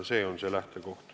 See on see lähtekoht.